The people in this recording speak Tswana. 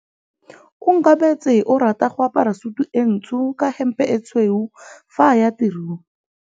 Onkabetse o rata go apara sutu e ntsho ka hempe e tshweu fa a ya tirong.